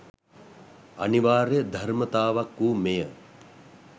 අනිවාර්ය ධර්මතාවක් වූ මෙය